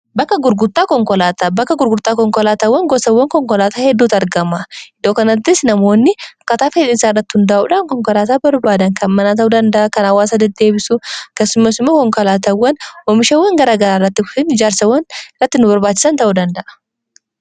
Bakka gurgurtaa konkolaatawwan gosawwan konkolaataa hedduttu argama iddoo kanaatti namoonni akkataa dheyiisaarrati hundaa'uudhaan konkolaataa barbaadan kan manaa ta'uu danda'a kan haawwaasa dedeebisu kessumesumaa konkolaatawwan oomishawwan garaa garaa irratti ijaarsawwan irratti nu barbaachisa ta'uu danda'a.